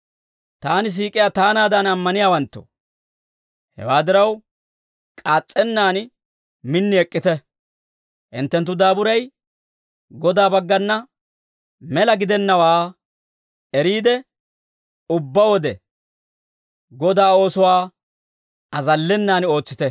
Taani siik'iyaa taanaadan ammaniyaawanttoo, hewaa diraw, k'aas's'ennaan min ek'k'ite. Hinttenttu daaburay Godaa baggana mela gidennawaa eriide, ubbaa wode Godaa oosuwaa azallenan ootsite.